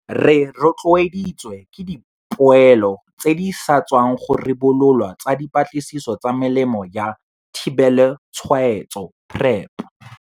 Re rotloeditswe ke dipoelo tse di sa tswang go ribololwa tsa dipatlisiso tsa Melemo ya Thibelotshwaetso, PrEP.